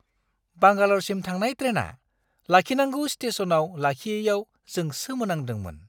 बांगाल'रसिम थांनाय ट्रेनआ लाखिनांगौ स्टेस'नाव लाखियैयाव जों सोमोनांदोंमोन!